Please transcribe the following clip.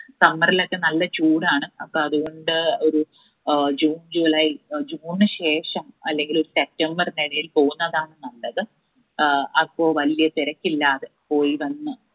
summer ഇലൊക്കെ നല്ല ചൂടാണ് അപ്പൊ അതുകൊണ്ട് ഒരു ആഹ് june july june ശേഷം അല്ലെങ്കില് september ന് ഇടയിൽ പോവുന്നതാണ് നല്ലത്. ഏർ അപ്പൊ വല്യ തെരക്കില്ലാതെ പോയി വന്ന്